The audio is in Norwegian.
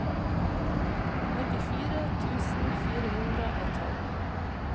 nittifire tusen fire hundre og tolv